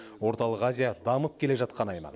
орталық азия дамып келе жатқан аймақ